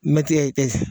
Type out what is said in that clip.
Mɛti ye